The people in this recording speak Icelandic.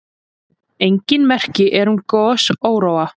Engin merki eru um gosóróa.